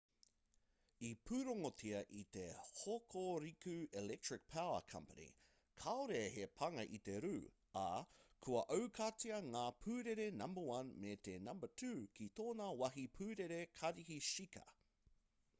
i pūrongotia e te hokuriku electric power co kāore he pānga i te rū ā kua aukatia ngā pūrere number 1 me te number 2 ki tōna wāhi pūrere karihi shika